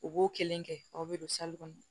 U b'o kelen kɛ aw bɛ don kɔnɔ